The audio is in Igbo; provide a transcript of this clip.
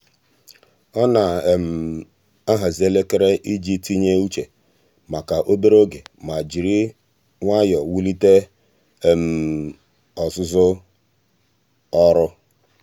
ọ na-ahazị elekere iji tinye uche maka obere oge ma jiri nwayọọ wulite ọzụzụ ọrụ.